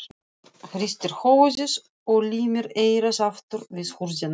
Hristir höfuðið og límir eyrað aftur við hurðina.